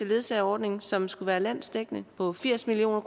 ledsageordning som skulle være landsdækkende på firs million